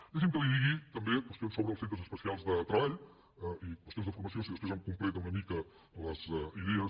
deixi’m que li digui també qüestions sobre els centres especials de treball i qüestions de formació si després em completa una mica les idees